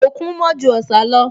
Òkun mọ́ ju Ọ̀sà lọ